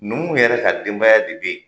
Numuw yɛrɛ ka denbaya de bɛ yen